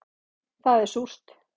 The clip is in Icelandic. Það er súrt